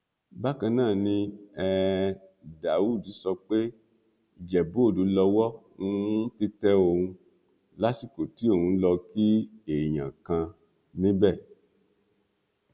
bákan náà ni um daud sọ pé ìjẹbúòde lowó um ti tẹ òun lásìkò tí òun lọọ kí èèyàn kan níbẹ